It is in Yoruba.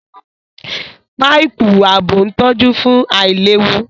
Páìpù ààbò ń tọ́jú fún àìlewu